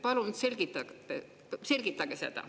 Palun selgitage seda.